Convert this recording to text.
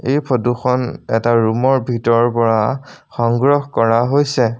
এই ফটোখন এটা ৰূমৰ ভিতৰৰ পৰা সংগ্ৰহ কৰা হৈছে।